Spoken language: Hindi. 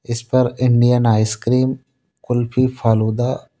इस पर इंडियन आइसक्रीम कुल्फी फालूदा--